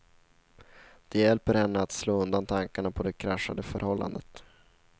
Det hjälper henne att slå undan tankarna på det kraschade förhållandet.